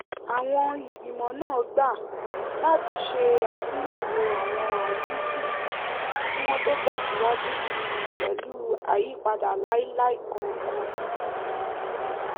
àwọn ìgbìmọ̀ náà gbà láti ṣe àtúnyẹ̀wò àwọn àríwísí kí wọ́n tó tẹ̀síwaju pẹ̀lú àyípadà lailai kankan